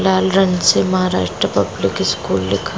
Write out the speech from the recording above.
लाल रंग से Maharashtra public school लिखा--